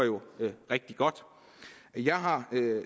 rigtig godt jeg har